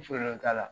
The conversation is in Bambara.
t'a la